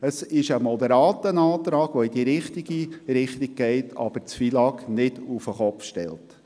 Es ist ein moderater Antrag, der in die richtige Richtung zielt, aber das FILAG nicht auf den Kopf stellt.